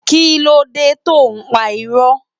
Kilódé tó n pá irò?